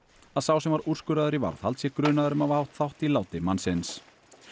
að sá sem var úrskurðaður í varðhald sé grunaður um að hafa átt þátt í láti mannsins